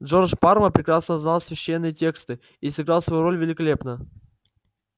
джордж парма прекрасно знал священные тексты и сыграл свою роль великолепно